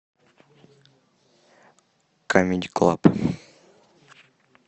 камеди клаб